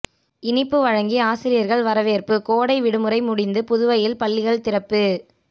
இனிப்பு வழங்கி ஆசிரியர்கள் வரவேற்பு கோடை விடுமுறை முடிந்து புதுவையில் பள்ளிகள் திறப்பு